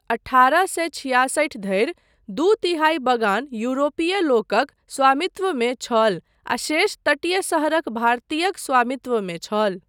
अठारह सए छियासठि धरि दू तिहाई बगान यूरोपीय लोकक स्वामित्वमे छल आ शेष तटीय शहरक भारतीयक स्वामित्वमे छल।